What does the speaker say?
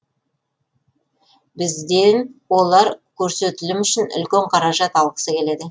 бізден олар көрсетілім үшін үлкен қаражат алғысы келеді